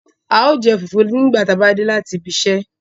Ào jẹ́ fufu nigba ti a ba de lati ìbi ìsẹ